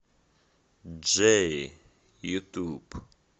джерри ютуб